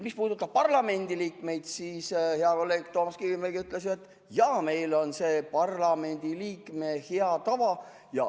Mis puudutab parlamendi liikmeid, siis hea kolleeg Toomas Kivimägi ütles, et jaa, meil on see Riigikogu liikme hea tava.